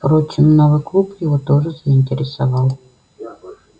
впрочем новый клуб его тоже заинтересовал